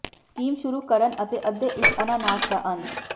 scheme ਸ਼ੁਰੂ ਕਰਨ ਅਤੇ ਅੱਧੇ ਇੱਕ ਅਨਾਨਾਸ ਦਾ ਅੰਤ